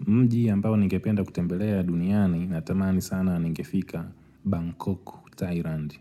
Mji ambao ningependa kutembelea duniani natamani sana nigefika Bangkok, Thailand.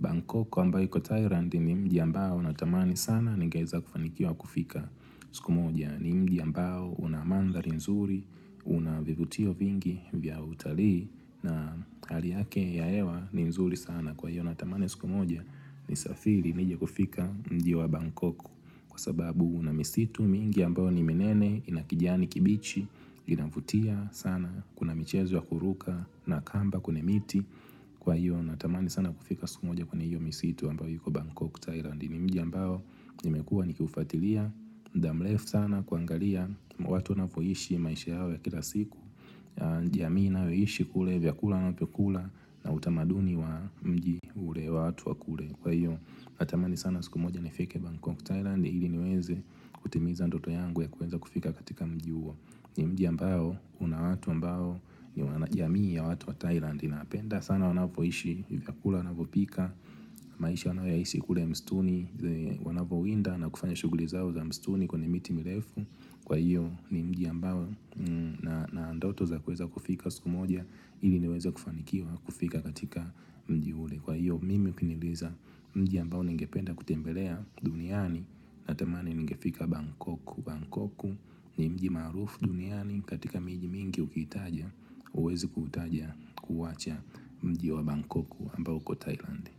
Bangkok ambao iko Thailand ni mji ambao natamani sana ningeweza kufanikiwa kufika siku moja yaani. Ni mji ambao una mandhari nzuri, una vivutio vingi vya utalii na hali yake ya hewa ni mzuri sana kwa hiyo natamani siku moja nisafiri nije kufika mji wa Bangkok. Kwa sababu na misitu mingi ambao ni minene ina kijiani kibichi inavutia sana kuna michezo ya kuruka na kamba kwenye miti Kwa hiyo natamani sana kufika siku moja kwenye hiyo misitu ambao iko Bangkok Thailand ni mji ambao nimekua nikiufatilia mda mrefu sana kuangalia watu wanavyoishi maisha yao ya kila siku ni jamii inayoishi kule vyakula wanavyokula na utamaduni wa mji ule watu wa kule Kwa hiyo natamani sana siku moja nifike Bangkok Thailand ili niweze kutimiza ndoto yangu ya kuweza kufika katika mji huo ni mji ambao una watu ambao ni wanajamii ya watu wa Thailand napenda sana wanapo ishi vyakula wanavyopika maisha wanaoyaishi kule mstuni wanapo winda na kufanya shughuli zao za mstuni kwenye miti mirefu kwa hiyo ni mji ambao na ndoto za kuweza kufika siku moja ili niweze kufanikiwa kufika katika mji ule kwa hiyo mimi ukiniuliza mji ambao ningependa kutembelea duniani Natamani ningefika Bangkok Bangkok ni mji maarufu duniani katika miji mingi ukitaja huwezi kutaja kuwacha mji wa Bangkok ambao uko Thailand.